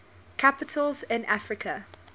capitals in africa